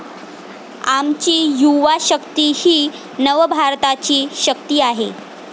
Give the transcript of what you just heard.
आमची युवा शक्ती ही नवभारताची शक्ती आहे.